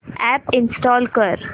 app install कर